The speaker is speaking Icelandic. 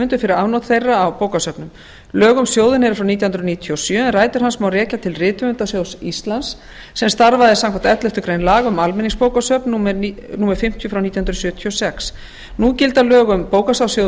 höfundum fyrir afnot þeirra af bókasöfnum lög um sjóðinn eru frá nítján hundruð níutíu og sjö en rætur hans má rekja til rithöfundasjóðs íslands sem starfaði samkvæmt elleftu grein laga um almenningsbókasöfn númer fimmtíu nítján hundruð sjötíu og sex nú gilda